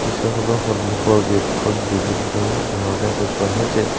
দৃশ্যখনৰ সন্মুখৰ গেট খন বিভিন্ন ধৰণে সজোৱা হৈছে।